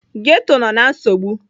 Ghetọ nọ na nsogbu.